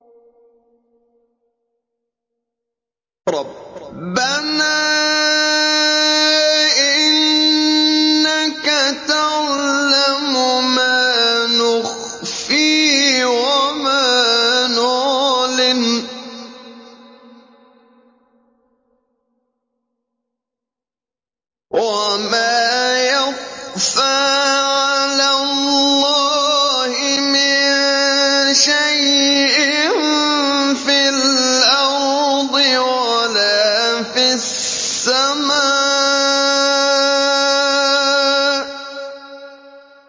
رَبَّنَا إِنَّكَ تَعْلَمُ مَا نُخْفِي وَمَا نُعْلِنُ ۗ وَمَا يَخْفَىٰ عَلَى اللَّهِ مِن شَيْءٍ فِي الْأَرْضِ وَلَا فِي السَّمَاءِ